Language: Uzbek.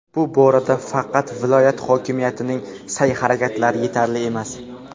bu borada faqat viloyat hokimiyatining sa’y-harakatlari yetarli emas.